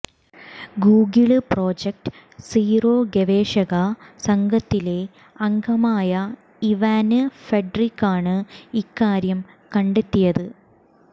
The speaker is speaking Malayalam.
ഗൂഗിള് പ്രൊജക്ട് സീറോ ഗവേഷക സംഘത്തിലെ അംഗമായ ഇവാന് ഫാട്രിക്കാണ് ഇക്കാര്യം കണ്ടെത്തിയത്